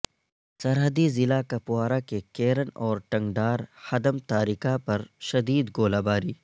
سرحدی ضلع کپوارہ کے کیرن اور ٹنگڈار حدمتارکہ پر شدید گولہ باری